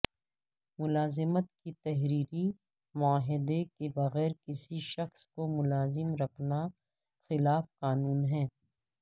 ملازمت کے تحریری معاہدے کے بغیر کسی شخص کو ملازم رکھنا خلاف قانون ہے